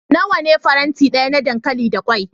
Nawa ne faranti daya na dankali da kwai?